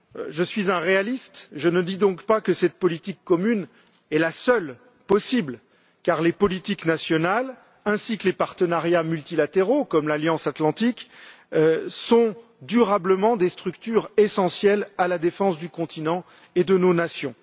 Je suis un réaliste, je ne dis donc pas que cette politique commune est la seule possible car les politiques nationales ainsi que les partenariats multilatéraux comme l'Alliance atlantique sont durablement des structures essentielles à la défense du continent et de nos nations.